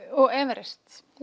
og Everest